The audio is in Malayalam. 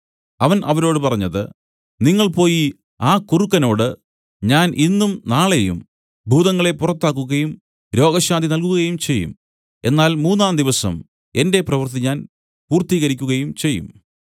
അവൻ അവരോട് പറഞ്ഞത് നിങ്ങൾ പോയി ആ കുറുക്കനോട് ഞാൻ ഇന്നും നാളെയും ഭൂതങ്ങളെ പുറത്താക്കുകയും രോഗശാന്തി നൽകുകയുംചെയ്യും എന്നാൽ മൂന്നാംദിവസം എന്റെ പ്രവൃത്തി ഞാൻ പൂർത്തീകരിക്കുകയും ചെയ്യും